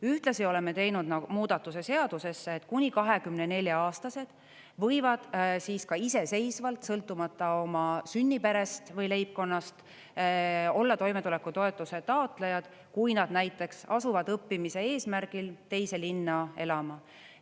Ühtlasi oleme teinud muudatuse seadusesse, et kuni 24-aastased võivad siis ka iseseisvalt, sõltumata oma sünniperest või leibkonnast, olla toimetulekutoetuse taotlejad, kui nad näiteks asuvad õppimise eesmärgil teise linna elama.